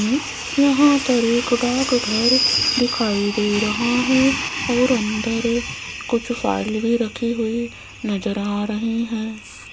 उ वहां पर एक डाकघर दिखाई दे रहा है और अंदर कुछ फाइल भी रखी हुई नजर आ रही हैं।